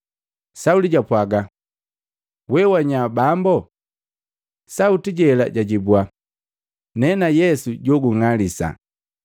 Sauli japwaga, “Wee wanya, Bambo?” Sauti jela jajibwa, “Nena Yesu joung'alisa.